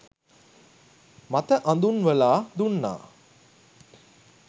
මත අඳුන්වලා දුන්නා